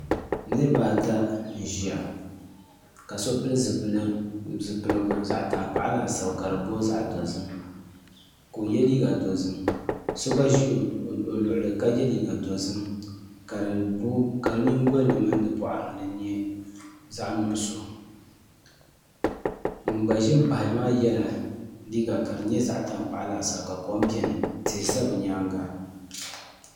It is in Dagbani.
Niraba ata n ʒiya ka so pili zipiligu zaɣ tankpaɣu laasabu ka do booi zaɣ dozim ka o yɛ liiga dozim so gba ʒi o luɣuli ni ka yɛ liiga dozim ka di nyingoli ni mini di boɣari ni nyɛ zaɣ nuɣso ŋun gba ʒi n paɣaya maa yɛla liiga ka di nyɛ zaɣ kom laasabu tihi ʒɛ bi nyaanga